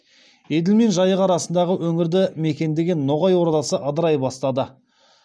еділ мен жайық арасындағы өңірді мекендеген ноғай ордасы ыдырай бастады